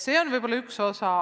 See võib olla üks põhjus.